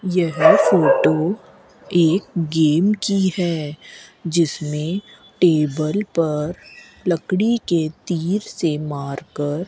यह फोटो एक गेम की है जिसमें टेबल पर लकड़ी के तीर से मारकर --